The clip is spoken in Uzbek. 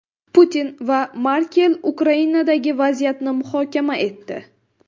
Putin va Merkel Ukrainadagi vaziyatni muhokama etdi .